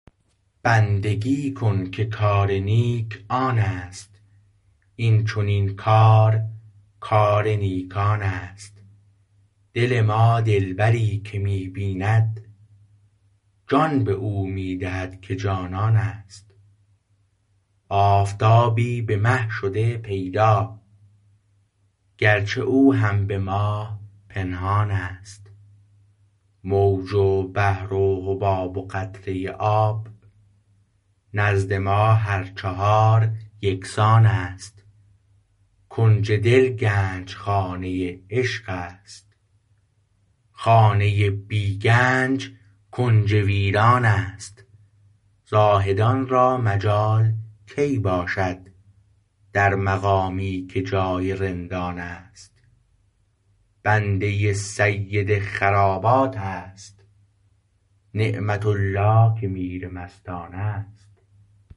بندگی کن که کار نیک آن است این چنین کار کار نیکان است دل ما دلبری که می بیند جان به او می دهد که جانان است آفتابی به مه شده پیدا گرچه او هم به ماه پنهان است موج و بحر و حباب و قطره آب نزد ما هر چهار یکسان است کنج دل گنجخانه عشق است خانه بی گنج کنج ویران است زاهدان را مجال کی باشد در مقامی که جای رندان است بنده سید خرابات است نعمت الله که میر مستان است